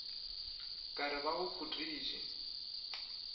ka re ba go khutiše